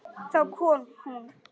Þá kom hún.